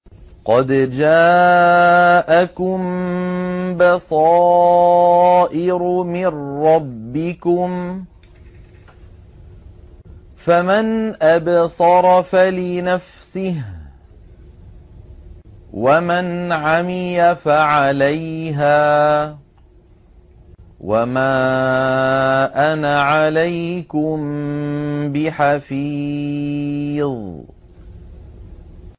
قَدْ جَاءَكُم بَصَائِرُ مِن رَّبِّكُمْ ۖ فَمَنْ أَبْصَرَ فَلِنَفْسِهِ ۖ وَمَنْ عَمِيَ فَعَلَيْهَا ۚ وَمَا أَنَا عَلَيْكُم بِحَفِيظٍ